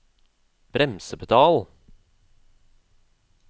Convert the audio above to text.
bremsepedal